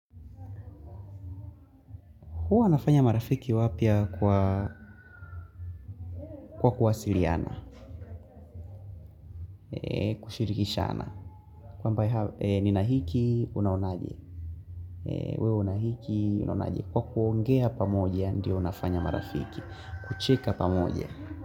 Huwa nafanya marafiki wapya kwa kuwasiriana, kushirikisha ana. Kwa ambae ni nahiki, unaonaje. Weo unahiki, unaonaje. Kwa kuongea pamoja, ndio nafanya marafiki. Kucheka pamoja.